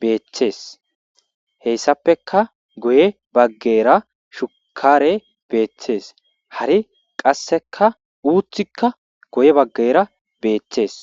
beeththees heyssappeka goye baggera shukare beeththees hari qasseka uutthikka goye baggera beettees